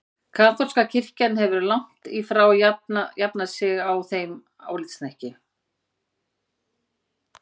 Kaþólska kirkjan hefur langt í frá jafnað sig á þeim álitshnekki.